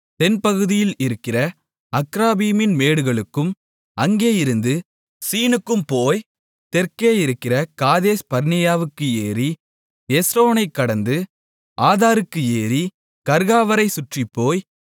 தென்பகுதியில் இருக்கிற அக்ராபீமின் மேடுகளுக்கும் அங்கேயிருந்து சீனுக்கும் போய் தெற்கே இருக்கிற காதேஸ்பர்னேயாவுக்கு ஏறி எஸ்ரோனைக் கடந்து ஆதாருக்கு ஏறி கர்க்காவைச் சுற்றிப் போய்